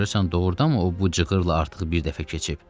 Görəsən, doğurdanmı o bu cığırla artıq bir dəfə keçib?